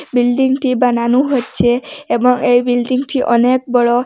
বিল্ডিংটি বানানো হচ্ছে এবং এই বিল্ডিংটি অনেক বড়।